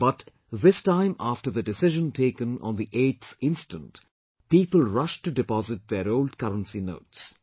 But, this time after the decision taken on the 8th instant, people rushed to deposit their old currency notes